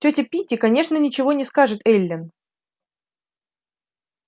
тётя питти конечно ничего не скажет эллин